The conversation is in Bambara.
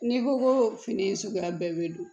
N'i ko ko fini suguya bɛɛ bɛ don